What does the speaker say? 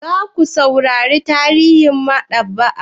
Za ku saurara tarihin maɗaba'a?